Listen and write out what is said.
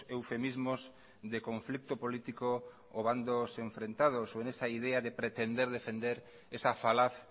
eufemismos de conflicto político o bandos enfrentados o en esa idea de pretender defender esa falaz